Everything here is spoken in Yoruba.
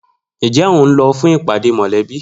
Njẹ ohun lọ fún ìpàdé mọlẹbi?